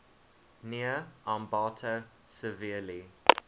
near ambato severely